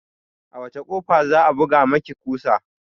A wacce kofa za'a buga maki kusa?